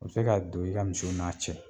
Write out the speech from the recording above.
U bi se ka don i ka misiw n'a cɛ